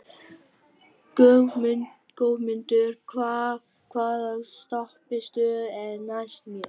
Goðmundur, hvaða stoppistöð er næst mér?